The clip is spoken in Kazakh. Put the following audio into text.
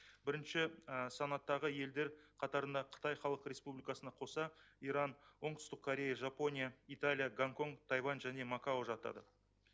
бірінші санаттағы елдер қатарына қытай халық республикасына қоса иран оңтүстік корея жапония италия гонконг тайвань және макао жатады